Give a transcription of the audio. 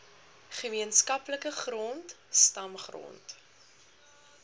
gemeenskaplike grond stamgrond